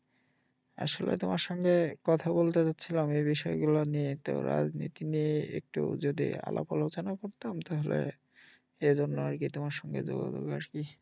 আসলে তোমার সঙ্গে কথা বলতে চাচ্ছিলাম এই বিষয় গুলা নিয়ে তো রাজনীতি নিয়ে একটু যদি আলাপ আলোচনা করতাম তাহলে এইজন্য আরকি তোমার সঙ্গে যোগাযোগ আরকি